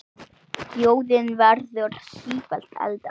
Þjóðin verður sífellt eldri.